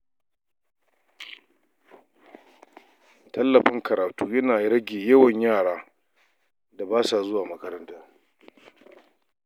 Tallafin karatu yana rage yawan yara da basa zuwa makaranta.